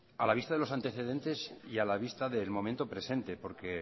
a la vista de los antecedentes y a la vista del momento presente porque